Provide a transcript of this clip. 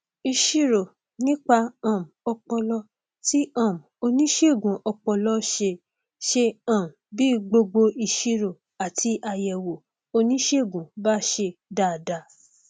ìṣirò nípa um ọpọlọ tí um oníṣègùn ọpọlọ ṣe ṣe um bí gbogbo ìṣirò àti àyẹwò oníṣègùn bá ṣe dáadáa